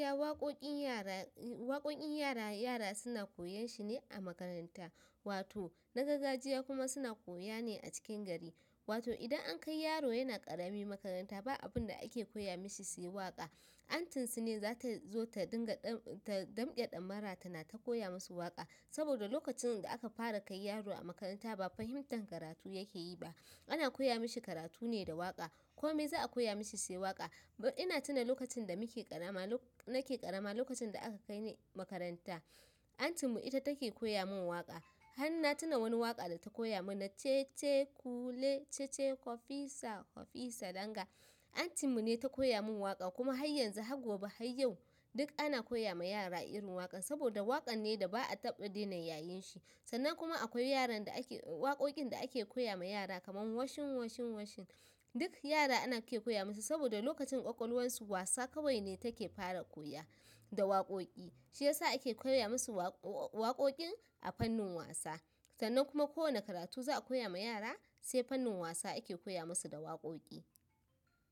Ya waƙoƙin yara, waƙoƙin yara, yara suna koyan shi ne a makaranta. Wato na gargajiya kuma suna koya ne a cikin gari. Wato idan an kai yaro yana ƙarami makaranta, ba abun da ake koya mashi sai waƙa. Antin su ne za ta zo ta dinga ta damke ɗamara ta na ta koya musu waƙa. Saboda lokacin da aka fara kai yaro a makaranta, ba fahimtar karatu yake yi ba. Ana koya mishi karatu ne da waƙa. Ko me za a koya mishi sai waƙa? Ina tuna lokacin da nake karama lokacin da aka kai ni makaranta aunty mu ita take koyan waƙa Hanna tuna wani waƙa da ta koya mu na "Cece kula, cece kwafisa, kwafisa danga". Antin mu ne ta koya mun waƙa kuma har yanzu har gobe har yau, duk ana koya ma yara irin waƙan. Saboda waƙar ne da ba a taɓa daina yayin shi. Sannan kuma akwai yaran da ake, waƙoƙin da ake koya ma yara kamar "washing, washing, washing". Duk yara ana ke koya musu saboda lokacin ƙwaƙwalwarsu wasa kawai ne take fara koya da waƙoƙi. Shi ya sa ake koya masu waƙoƙin a fannin wasa. Sannan kuma kowane karatu za a koya ma yara, sai fannin wasa ake koya musu da waƙoƙi.